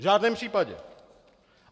V žádném případě!